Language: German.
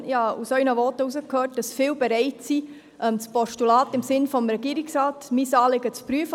Ich habe aus Ihren Voten herausgehört, dass viele bereit sind, das Postulat anzunehmen im Sinne des Regierungsrats, unser Anliegen zu prüfen.